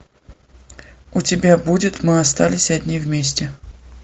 у тебя будет мы остались одни вместе